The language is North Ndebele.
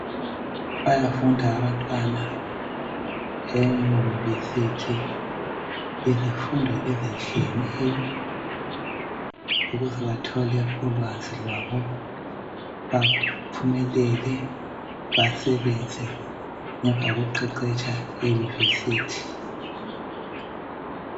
Bayafunda abantwana eyunivesithi izifundo ezitshiyeneyo ukuze bathole ulwazi lwabo baphumelele basebenze emva kokuqeqetsha eyunivesithi.